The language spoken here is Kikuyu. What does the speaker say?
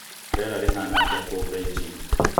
rīera rīhana atīa kūu Beijing